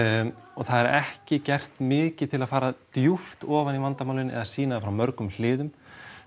og það er ekki gert mikið til að fara djúpt ofan í vandamálin eða sýna þau frá mörgum hliðum